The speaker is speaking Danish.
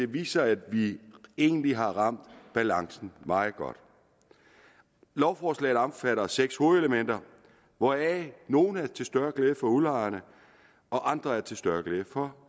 viser at vi egentlig har ramt balancen meget godt lovforslaget omfatter seks hovedelementer hvoraf nogle er til større glæde for udlejerne og andre er til større glæde for